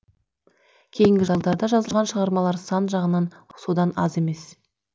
кейінгі жылдарда жазылған шығармалар сан жағынан содан аз емес